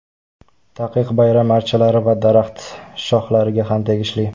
Taqiq bayram archalari va daraxt shohlariga ham tegishli.